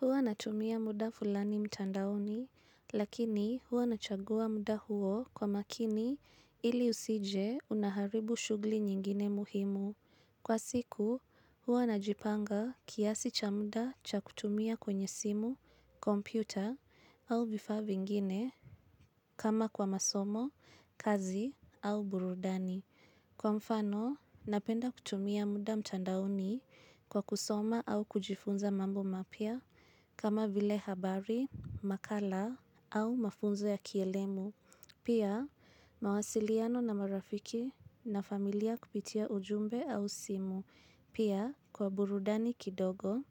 Huwa natumia muda fulani mtandaoni, lakini huwa nachagua muda huo kwa makini ili usije unaharibu shugli nyingine muhimu. Kwa siku, huwa najipanga kiasi cha muda cha kutumia kwenye simu, kompyuta, au vifa vingine, kama kwa masomo, kazi, au burudani. Kwa mfano, napenda kutumia muda mtandaoni kwa kusoma au kujifunza mambo mapya kama vile habari, makala au mafunzo ya kielemu. Pia, mawasiliano na marafiki na familia kupitia ujumbe au simu. Pia, kwa burudani kidogo